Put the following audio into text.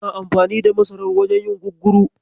Ana amfani da masarar wajen yin gugguru.